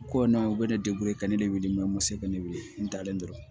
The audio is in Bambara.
Ko na u bɛ ne ka ne de wele mɛ n ma se ka ne weele n dalen dɔrɔn